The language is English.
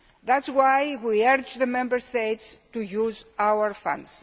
That is why we urge the Member States to use our Funds.